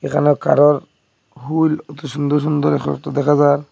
এখানে কারোর হুল অতি সুন্দর সুন্দর দেখা যার ।